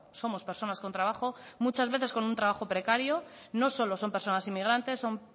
somos personas con trabajo muchas veces con un trabajo precario no solo son personas inmigrantes son